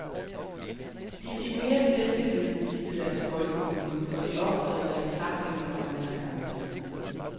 De fik mere selvtillid, viste deres boldkunnen, og de ofrede sig i tacklinger og nærkampene.